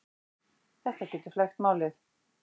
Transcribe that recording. Þetta getur flækt málið.